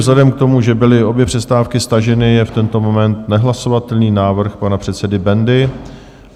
Vzhledem k tomu, že byly obě přestávky staženy, je v tento moment nehlasovatelný návrh pana předsedy Bendy.